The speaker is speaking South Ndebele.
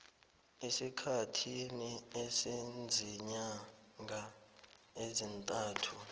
esikhathini esiziinyanga ezintathu